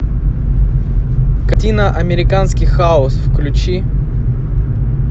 картина американский хаос включи